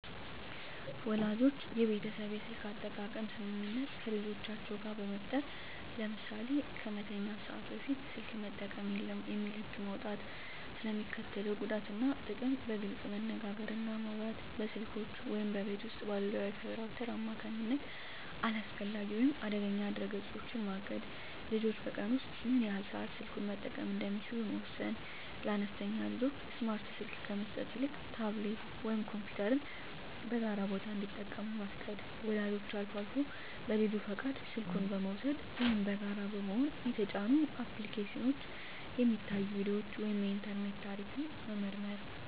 ወላጆች የቤተሰብ የስልክ አጠቃቀም ስምምነት ከልጆቻቸው ጋር በጋራ መፍጠር። ለምሳሌ "ከመተኛት ሰዓት በፊት ስልክ መጠቀም የለም" የሚል ህግ መውጣት። ስለ ሚስከትለው ጉዳት እና ጥቅም በግልፅ መነጋገር እና ማውራት። በስልኮች ወይም በቤት ውስጥ ባለው የWi-Fi ራውተር አማካኝነት አላስፈላጊ ወይም አደገኛ ድረ-ገጾችን ማገድ። ልጆች በቀን ውስጥ ምን ያህል ሰዓት ስልኩን መጠቀም እንደሚችሉ መወሰን። ለአነስተኛ ልጆች ስማርት ስልክ ከመስጠት ይልቅ ታብሌት ወይም ኮምፒውተርን በጋራ ቦታ እንዲጠቀሙ መፍቀድ። ወላጆች አልፎ አልፎ በልጁ ፈቃድ ስልኩን በመውሰድ (ወይም በጋራ በመሆን) የተጫኑ አፕሊኬሽኖች፣ የሚታዩ ቪዲዮዎች ወይም የኢንተርኔት ታሪክ መመርመር።